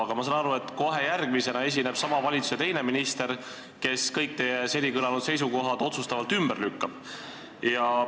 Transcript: Aga ma saan aru, et kohe järgmisena esineb sama valitsuse teine minister, kes kõik teie seni kõlanud seisukohad otsustavalt ümber lükkab.